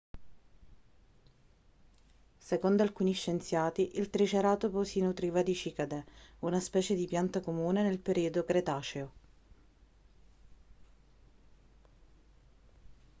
secondo alcuni scienziati il triceratopo si nutriva di cicadee una specie di pianta comune nel periodo cretaceo